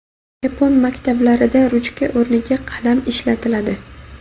Yapon maktablarida ruchka o‘rniga qalam ishlatiladi.